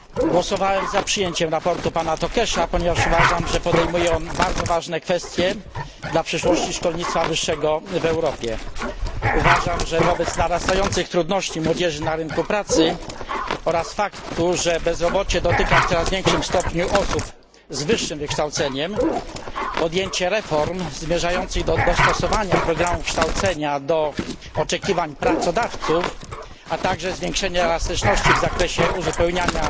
Głosowałem za przyjęciem sprawozdania pana Tőkésa, ponieważ uważam, że podejmuje ono bardzo ważne kwestie dla przyszłości szkolnictwa wyższego w Europie. Uważam, że wobec narastających trudności, z jakimi młodzież boryka się na rynku pracy, oraz faktu, że bezrobocie dotyka w coraz większym stopniu osób z wyższym wykształceniem, podjęcie reform zmierzających do dostosowania programu kształcenia do oczekiwań pracodawców, a także zwiększenie elastyczności w zakresie uzupełniania